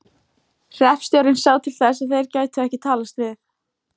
Hreppstjórinn sá til þess að þeir gætu ekki talast við.